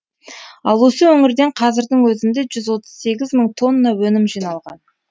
ал осы өңірден қазірдің өзінде жүз отыз сегіз мың тонна өнім жиналған